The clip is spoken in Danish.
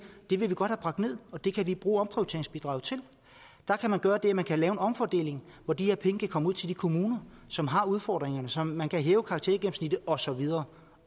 det vil vi godt have bragt ned og det kan vi bruge omprioriteringsbidraget til der kan man gøre det at man kan lave en omfordeling hvor de her penge kan komme ud til de kommuner som har udfordringerne så man kan hæve karaktergennemsnittet og så videre